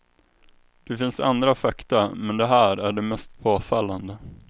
Det finns andra fakta, men de här är de mest påfallande.